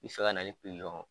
I bɛ se ka na ni